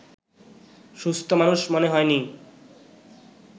সুস্থ মানুষ মনে হয়নি